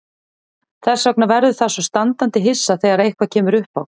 Þess vegna verður það svo standandi hissa þegar eitthvað kemur uppá.